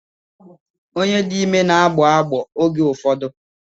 Onye dị ime n'agbọ agbọọ oge ụfọdụ.